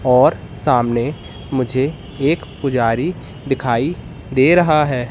और सामने मुझे एक पुजारी दिखाई दे रहा है।